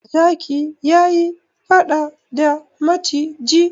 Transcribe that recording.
Zaki ya yi faɗa da maciji.